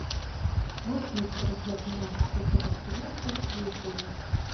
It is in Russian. можешь найти трансляцию матча апл арсенал против ливерпуля